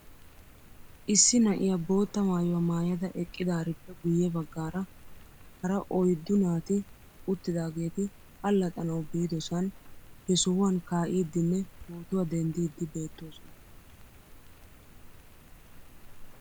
Issi na'iyaa bootta maayuwaa maayada eqqidaarippe guyye baggaara hara ouyddu naati uttidaageeti allaxxanaw biidosan he sohuwan kaa'iiddinne pootuwaa denddiiddi beettoosona